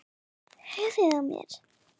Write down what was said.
Höfuðið á mér